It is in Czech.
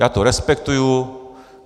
Já to respektuji.